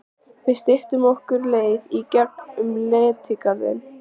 Við styttum okkur leið í gegn um Letigarðinn.